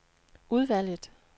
udvalget